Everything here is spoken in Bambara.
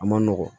A ma nɔgɔn